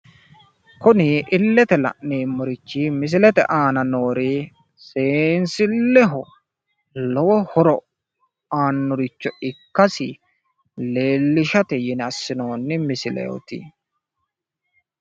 Kuni illete la'neemmorichi misilete aana noori seensilleho lowo horo aannoricho ikkasi leellishate yine assinoonni misileeti.